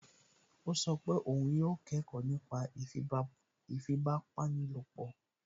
Ó sọ pé òun yóò kẹ́kọ̀ọ́ nípa ìfipábanílòpọ̀